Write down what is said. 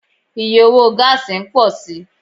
Iye owo gáásì n pọ si